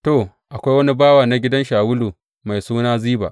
To, akwai wani bawa na gidan Shawulu mai suna Ziba.